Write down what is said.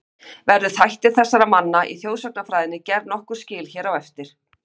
Verður þætti þessara manna í þjóðsagnafræðinni gerð nokkur skil hér á eftir.